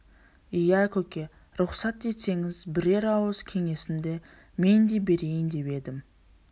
иә көке рұқсат етсеңіз бірер ауыз кеңесімді мен де берейін деп едім